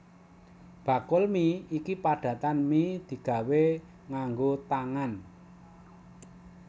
Bakul mi iki padatan mi digawé nganggo tangan